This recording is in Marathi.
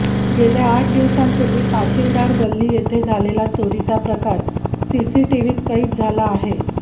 गेल्या आठ दिवसांपूर्वी ताशिलदार गल्ली येथे झालेला चोरीचा प्रकार सीसीटीव्हीत कैद झाला आहे